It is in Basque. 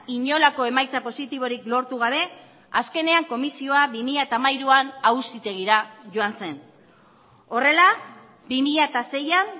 inolako emaitza positiborik lortu gabe azkenean komisioa bi mila hamairuan auzitegira joan zen horrela bi mila seian